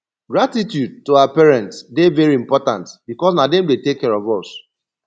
gratitude to our parents de very important because na dem de take care of us